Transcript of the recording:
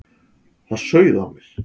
Það sauð á mér.